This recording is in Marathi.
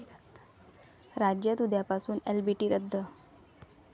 राज्यात उद्यापासून एलबीटी रद्द